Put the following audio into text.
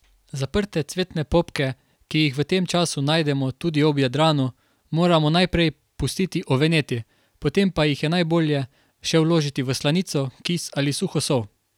Zaprte cvetne popke, ki jih v tem času najdemo tudi ob Jadranu, moramo najprej pustiti oveneti, potem pa jih je najbolje še vložiti v slanico, kis ali suho sol.